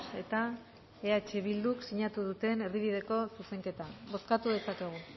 eta eh bilduk sinatu duten erdibideko zuzenketa bozkatu dezakegu